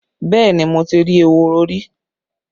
Yes, I have seen rabbits before